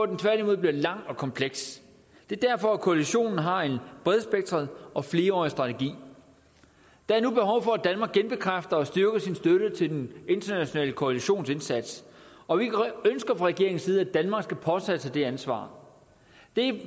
den tværtimod bliver lang og kompleks det er derfor koalitionen har en bredspektret og flerårig strategi der er nu behov for at danmark genbekræfter og styrker sin støtte til den internationale koalitions indsats og vi ønsker fra regeringens side at danmark skal påtage sig det ansvar det